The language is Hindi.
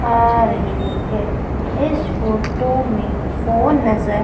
आ रही है इस फोटो में फोन नजर--